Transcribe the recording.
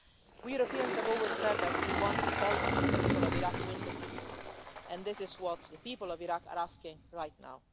We Europeans have always said that we want to help the people of Iraq win the peace, and this is what the people of Iraq are asking right now.